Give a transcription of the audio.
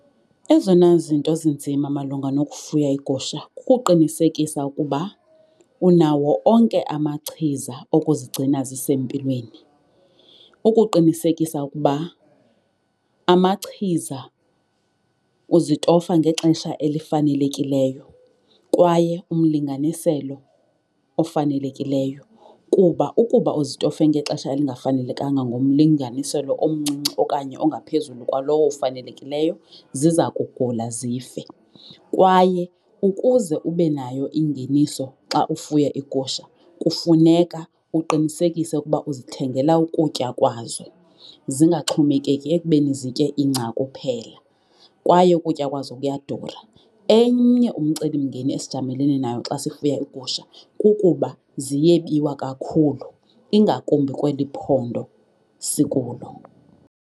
Ezona zinto zinzima malunga nokufuya iigusha kukuqinisekisa ukuba unawo onke amachiza okuzigcina zisempilweni, ukuqinisekisa ukuba amachiza uzitofa ngexesha elifanelekileyo kwaye umlinganiselo ofanelekileyo. Kuba ukuba uzitofe ngexesha elingafanelekanga ngomlinganiselo omncinci okanye ongaphezulu kwalowo ufanelekileyo ziza kugula zife. Kwaye ukuze ube nayo ingeniso xa ufuye iigusha kufuneka uqinisekise ukuba uzithengela ukutya kwazo, zingaxhomekeki ekubeni zitye ingca kuphela kwaye ukutya kwazo kuyadura. Enye umcelimngeni esijamelene nayo xa sifuya iigusha kukuba ziyebiwa kakhulu, ingakumbi kweli phondo sikulo.